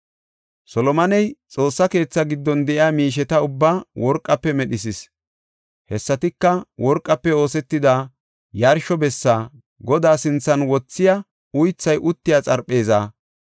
Solomoney Xoossa keethaa giddon de7iya miisheta ubbaa worqafe medhisis. Hessatika, worqafe oosetida yarsho bessa, Godaa sinthan wothiya uythay uttiya xarpheeza,